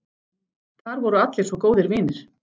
Þar voru allir svo góðir vinir.